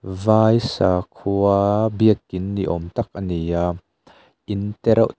vai sakhua biakin niawm tak ani a in tereuh--